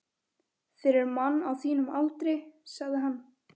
Fyrir mann á þínum aldri, sagði hann.